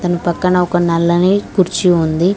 తన పక్కన ఒక నల్లని కుర్చీ ఉంది